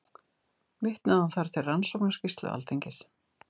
Vitnaði hann þar til Rannsóknarskýrslu Alþingis